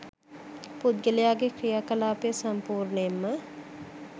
පුද්ගලයාගේ ක්‍රියා කලාපය සම්පූර්ණයෙන්ම